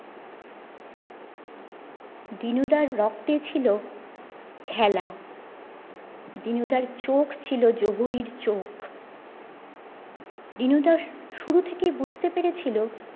দিনু দাড় রক্তে ছিল খেলা দিনুদার চোখ ছিল জোহরীর চোখ দিনু দা শুরু থেকেই বুঝতে পেরেছিলো